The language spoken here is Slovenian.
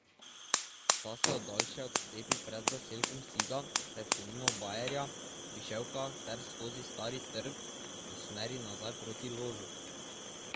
Ta se od daljše odcepi pred zaselkom Siga ter se mimo Bajerja, Viševka ter skozi Stari trg usmeri nazaj proti Ložu.